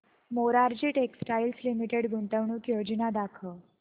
Morarji textiles limited गुंतवणूक योजना दाखव